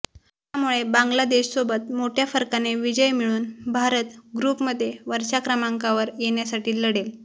त्यामुळे बांगलादेशसोबत मोठ्या फरकाने विजय मिळवून भारत ग्रुपमध्ये वरच्या क्रमांकावर येण्यासाठी लढेल